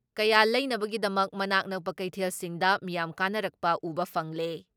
ꯀꯌꯥ ꯂꯩꯅꯕꯒꯤꯗꯃꯛ ꯃꯅꯥꯛ ꯅꯛꯄ ꯀꯩꯊꯦꯜꯁꯤꯡꯗ ꯃꯤꯌꯥꯝ ꯀꯥꯅꯔꯛꯄ ꯎꯕ ꯐꯪꯂꯦ ꯫